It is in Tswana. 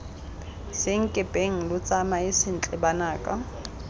senkepeng lo tsamae sentle banaka